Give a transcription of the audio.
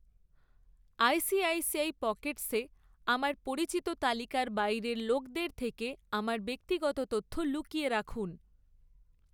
ICICI Pockets আমার পরিচিতি তালিকার বাইরের লোকদের থেকে আমার ব্যক্তিগত তথ্য লুকিয়ে রাখুন।